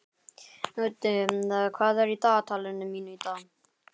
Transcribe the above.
Úddi, hvað er í dagatalinu mínu í dag?